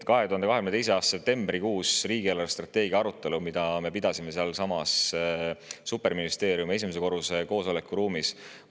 2022. aasta septembrikuus oli riigi eelarvestrateegia arutelu, mida me pidasime sealsamas superministeeriumi esimese korruse koosolekuruumis.